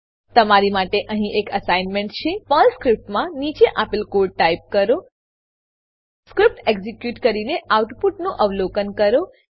તમારી માટે અહીં એક એસાઈનમેંટ છે પર્લ સ્ક્રીપ્ટમાં નીચે આપેલ કોડ ટાઈપ કરો સ્ક્રીપ્ટ એક્ઝીક્યુટ કરીને આઉટપુટનું અવલોકન કરો